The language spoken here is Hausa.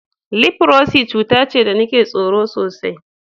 Lifrosi cuta ce da nake tsoro sosai.